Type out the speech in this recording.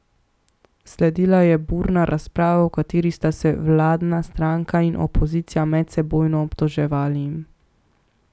Sledila je burna razprava, v kateri sta se vladna stranka in opozicija medsebojno obtoževali.